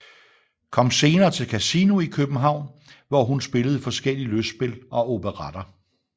Kom senere til Casino i København hvor hun spillede forskellige lystspil og operetter